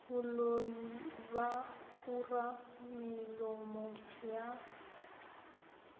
boloi ba kura melomo ya